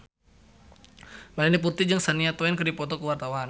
Melanie Putri jeung Shania Twain keur dipoto ku wartawan